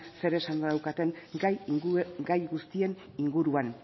zeresana daukaten gai guztien inguruan